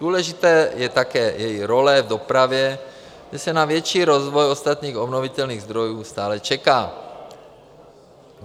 Důležitá je také její role v dopravě, kde se na větší rozvoj ostatních obnovitelných zdrojů stále čeká.